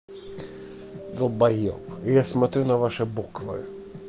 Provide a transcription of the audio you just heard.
долбаёб я смотрю на ваши буквы